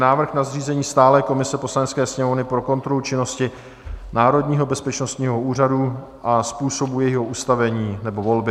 Návrh na zřízení stálé komise Poslanecké sněmovny pro kontrolu činnosti Národního bezpečnostního úřadu a způsobu jejího ustavení nebo volby